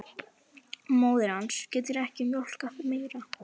Móðir hans getur ekki mjólkað meira.